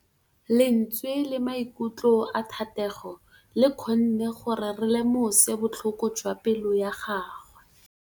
Lentswe la maikutlo a Thategô le kgonne gore re lemosa botlhoko jwa pelô ya gagwe.